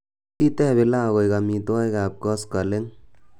tos iteb pilau koik omitwogik ab koskoleng'